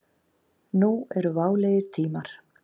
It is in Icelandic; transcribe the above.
Nú eru válegir tímar.